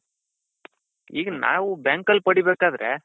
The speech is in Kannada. ಈಗ ನಾವು bank ಅಲ್ಲಿ ಪಡಿ ಬೇಕಾದ್ರೆ.